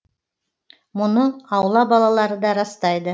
мұны аула балалары да растайды